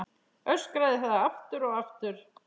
Öskraði það aftur og aftur.